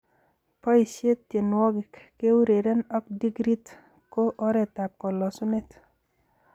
Boishe tienwokik, keureren ak dhikrit ko oretab kalosunet.